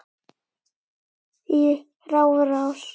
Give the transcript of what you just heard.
í rafrás